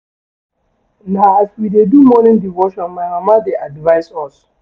Na as we dey do morning devotion my mama dey advise us.